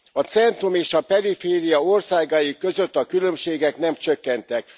A centrum és a periféria országai között a különbségek nem csökkentek.